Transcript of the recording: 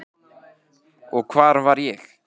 Og hvar var ég?